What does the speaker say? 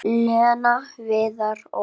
Lena, Viðar og